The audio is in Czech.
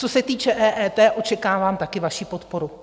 Co se týče EET, očekávám také vaši podporu.